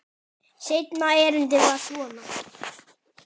Seinna erindið var svona